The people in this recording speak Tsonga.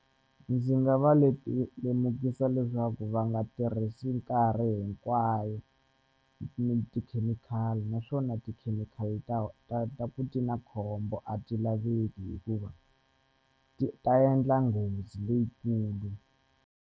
Ndzi nga va lemukisa leswaku va nga tirhisi nkarhi hinkwayo tikhemikhali naswona tikhemikhali ta ta ku ti na khombo a ti laveki hikuva ti ta endla nghozi leyikulu.